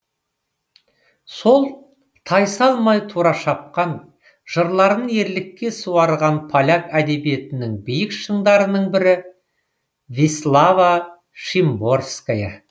сол тайсалмай тура шапқан жырларын ерлікке суарған поляк әдебиетінің биік шыңдарының бірі вислава шимборская